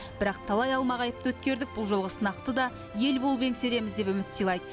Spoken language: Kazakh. бірақ талай алмағайыпты өткердік бұл жолғы сынақты да ел болып еңсереміз деп үміт сыйлады